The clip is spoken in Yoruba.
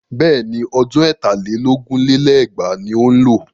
Bẹ́ẹ̀ni, ọdún ẹ̀tà lé lógún lé lẹ́gbàá ni ó ń lọ.